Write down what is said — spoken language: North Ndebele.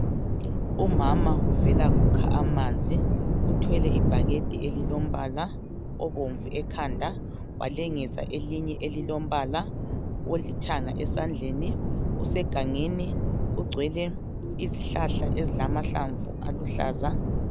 Umama uvela kukha amanzi uthwele ibhakede elimbala obomvu ekhanda walengisa elinye elilompala olithanga esandleni usegangeni kugcwele izihlahla ezilamahlamvu aluhlaza.